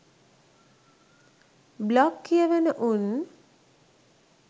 blog කියවන උන්